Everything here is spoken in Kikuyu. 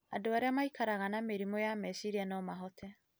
Andũ arĩa maikaraga na mĩrimũ ya meciria no mahote